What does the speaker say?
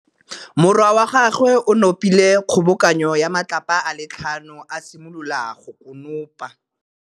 Morwa wa gagwe o nopile kgobokanô ya matlapa a le tlhano, a simolola go konopa.